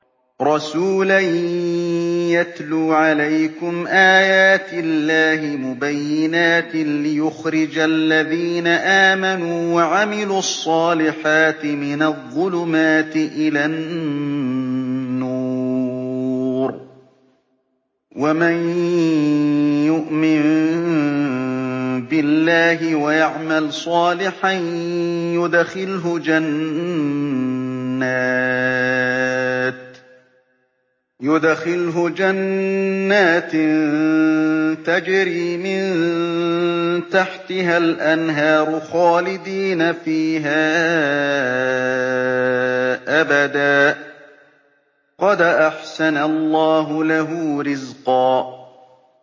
رَّسُولًا يَتْلُو عَلَيْكُمْ آيَاتِ اللَّهِ مُبَيِّنَاتٍ لِّيُخْرِجَ الَّذِينَ آمَنُوا وَعَمِلُوا الصَّالِحَاتِ مِنَ الظُّلُمَاتِ إِلَى النُّورِ ۚ وَمَن يُؤْمِن بِاللَّهِ وَيَعْمَلْ صَالِحًا يُدْخِلْهُ جَنَّاتٍ تَجْرِي مِن تَحْتِهَا الْأَنْهَارُ خَالِدِينَ فِيهَا أَبَدًا ۖ قَدْ أَحْسَنَ اللَّهُ لَهُ رِزْقًا